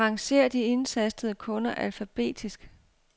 Arrangér de indtastede kunder alfabetisk.